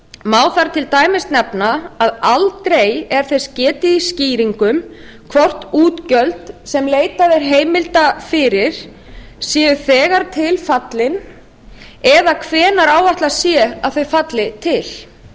má þar til dæmis nefna að aldrei er þess getið í skýringum hvort útgjöld sem leitað er heimilda fyrir séu þegar til fallin eða hvenær áætlað sé að þau falli til